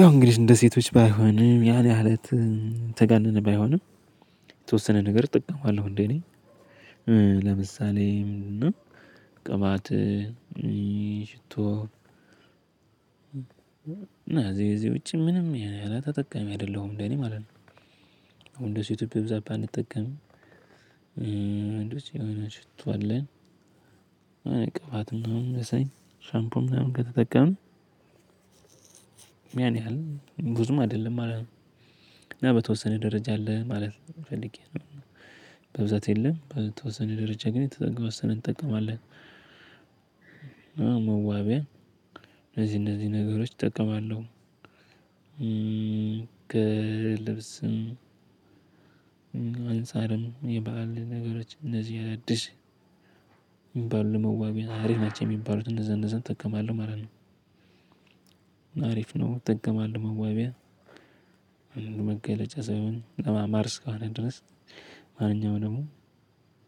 ያው እንግዲህ እንደ ሴቶች ባይሆንም ያን ያህል የተጋነነ ባይሆንም የተወሰነ ነገር እጠቀማለሁ እንደኔ ለምሳሌ ቅባት ሽቶ እና ከዚህ ከዚህ ውጪ ምንም ያን ያህል ተጠቃሚ አይደለሁም እንደኔ ማለት ነው። ወንዶች ኢትዮጵያ በብዛት ባንጠቀም ወንዶች የሆነ ሽቶ አለን ቀባትና ሻምፖም ምናምን ከተጠቀምን። ያን ያህል ብዙም አይደለም። እና በተወሰነ ደረጃ አለ ማለት ፈልጌ ነው። በብዛት የለም በተወሰነ ደረጃ ግን የተወሰነ እንጠቀማለን። እና መዋቢያ እነዚህ እነዚህ ነገሮች እጠቀማለሁ። ከልብስም አንፃርም የበአል ነገሮች እነዚህ አዳዲስ ሚባሉ ለመዋቢያ አሪፍ ናቸው የሚባሉት እንዛ እነዛን እጠቀማለሁ ማለት ነው። አሪፍ ነው እጠቀማለሁ መዋቢያ አንዱ መገለጫ ሰውን ለማማር እስከሆነ ድረስ ማንኛውም ደግሞ